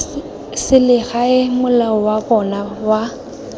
selegae mola wa bona wa